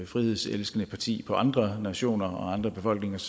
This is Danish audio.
frihedselskende parti på andre nationers og andre befolkningers